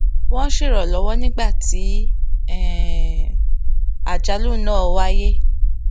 wón ṣèrànwó nígbà tí um àjálù náà wáyé